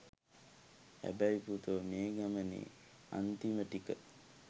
හැබැයි පුතෝ මේ ගමනේ අන්තිම ටික